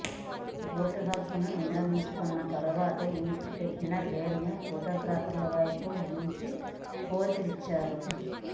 vote హక్కును వినియోగించుకున్న తర్వాత ఇంకు పెట్టిన వేలిని ఫొటోగ్రాపర్లవైపు ఉంచి ఫోజులిచ్చారు